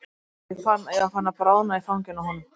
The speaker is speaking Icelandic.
Og ég fann að ég var farin að bráðna í fanginu á honum.